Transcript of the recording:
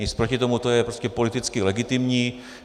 Nic proti tomu, to je prostě politicky legitimní.